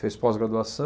Fez pós-graduaçã